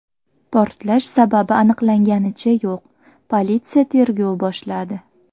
Portlash sababi aniqlanganicha yo‘q, politsiya tergov boshladi.